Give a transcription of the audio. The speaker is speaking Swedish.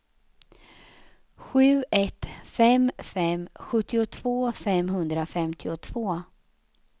sju ett fem fem sjuttiotvå femhundrafemtiotvå